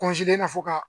fo ka